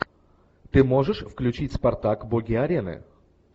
ты можешь включить спартак боги арены